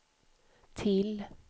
till